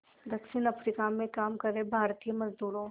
दक्षिण अफ्रीका में काम कर रहे भारतीय मज़दूरों